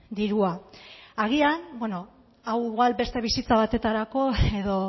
dirua agian hau igual beste bisita batetarako edo